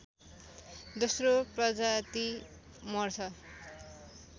दोश्रो प्रजाति मर्छ